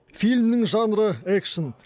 фильмнің жанры экшн